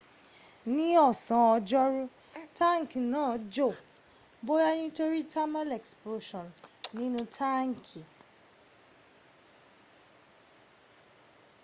ní ọ̀sán ọjọ́rú táǹkì náà jò bóyá nítorí thermal expansion nínu táǹkì